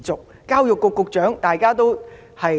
還有教育局局長。